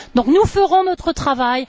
Nous ferons notre travail.